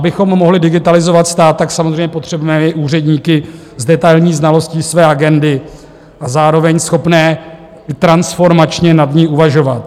Abychom mohli digitalizovat stát, tak samozřejmě potřebujeme i úředníky s detailní znalostí své agendy a zároveň schopné transformačně nad ní uvažovat.